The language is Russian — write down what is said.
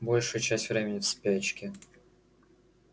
большую часть времени в спячке